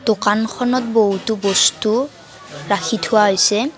দোকানখনত বহুতো বস্তু ৰাখি থোৱা হৈছে।